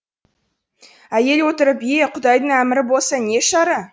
әйел отырып е құдайдың әмірі болса не шара